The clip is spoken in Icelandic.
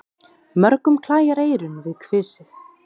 Mörgum klæjar eyrun við kvisið.